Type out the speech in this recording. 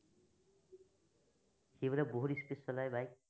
সি বোলে বহুত speed চলাই bike